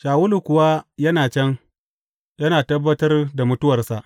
Shawulu kuwa yana can, yana tabbatar da mutuwarsa.